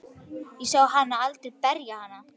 Ég sá hann aldrei berja hana.